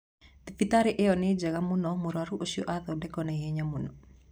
Thibitarĩ ĩo nĩ njega mũno mũrwaru ũcio athondekwo naihenya mũno